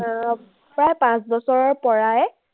উম প্ৰায় পাঁচ বছৰৰ পৰাই